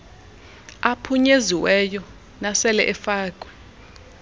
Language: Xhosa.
aphunyeziweyo nasele efakwe